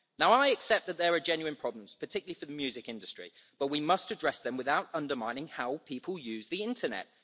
Now I accept that there are genuine problems, particularly for the music industry, but we must address them without undermining how people use the internet.